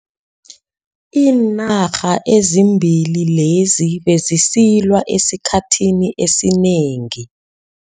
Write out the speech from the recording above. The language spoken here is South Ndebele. Iinarha ezimbili lezi bezisilwa esikhathini esinengi.